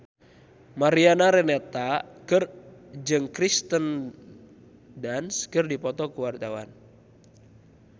Mariana Renata jeung Kirsten Dunst keur dipoto ku wartawan